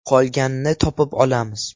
Qolganini topib olamiz.